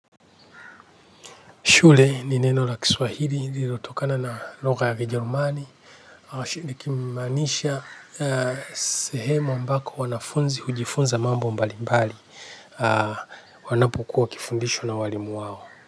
Shule ni neno la Kiswahili lililotokana na lugha ya Kijerumani. Nikimaanisha, sehemu ambako wanafunzi hujifunza mambo mbalimbali, wanapokuwa wakifundishwa na walimu wao.